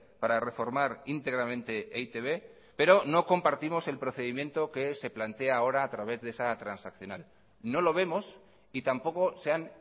para reformar íntegramente e i te be pero no compartimos el procedimiento que se plantea ahora a través de esa transaccional no lo vemos y tampoco se han